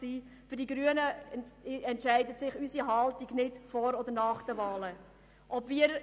Die Haltung der Grünen hängt nicht vom Zeitpunkt ab, also davon, ob die Diskussion vor oder nach den Wahlen stattfindet.